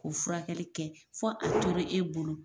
K'o furakɛli kɛ fo a tora e bolo.